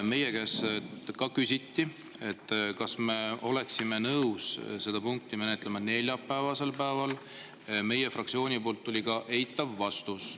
Meie käest ka küsiti, kas me oleksime nõus seda punkti menetlema neljapäevasel päeval, ja meie fraktsioonilt tuli eitav vastus.